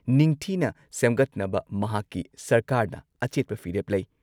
ꯅꯤꯡꯊꯤꯅ ꯁꯦꯝꯒꯠꯅꯕ ꯃꯍꯥꯛꯀꯤ ꯁꯔꯀꯥꯔꯅ ꯑꯆꯦꯠꯄ ꯐꯤꯔꯦꯞ ꯂꯩ ꯫